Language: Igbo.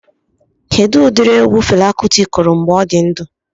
Kedụ ụdịrị egwu Fela Kuti kụrụ mgbe ọ dị ndụ?